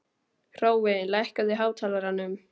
Hrói, lækkaðu í hátalaranum.